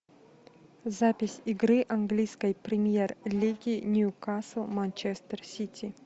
запись игры английской премьер лиги ньюкасл манчестер сити